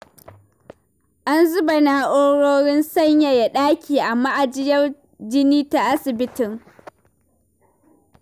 An zuba na'urorin sanyaya ɗaki a ma'ajiyar jini ta asibitin.